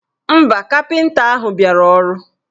Mba, kapịnta ahụ biara ọrụ.